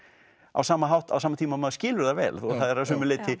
á sama hátt og sama tíma og maður skilur það vel það er að sumu leyti